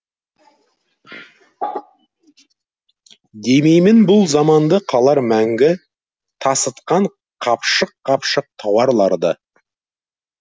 демеймін бұл заманды қалар мәңгі тасытқан қапшық қапшық тауарларды